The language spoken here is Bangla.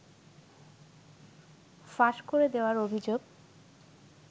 ফাঁস করে দেয়ার অভিযোগে